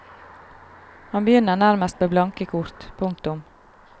Han begynner nærmest med blanke kort. punktum